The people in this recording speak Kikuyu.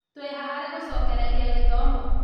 Tũĩha harĩ gũcokereria gĩthomo?